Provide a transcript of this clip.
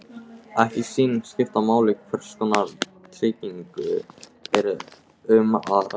Ekki sýnist skipta máli hvers konar tryggingu er um að ræða.